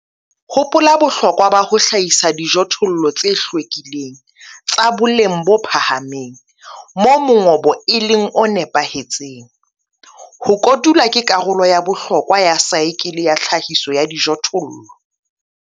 Hopola bohlokwa ba ho hlahisa dijothollo tse hlwekileng, tsa boleng bo phahameng, moo mongobo e leng o nepahetseng. Ho kotula ke karolo ya bohlokwa ya saekele ya tlhahiso ya dijothollo.